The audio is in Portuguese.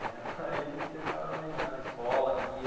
Né, aí você ficava imaginando a escola que ia,